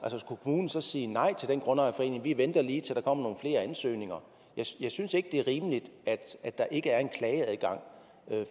skulle kommunen så sige nej til den grundejerforening vi venter lige til der kommer flere ansøgninger jeg synes ikke det er rimeligt at der ikke er en klageadgang